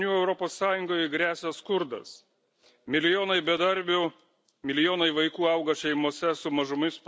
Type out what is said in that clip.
Milijonai bedarbių, milijonai vaikų auga šeimose su mažomis pajamomis tai globalizmo pasekmės.